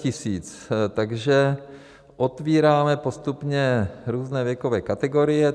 Takže otvíráme postupně různé věkové kategorie.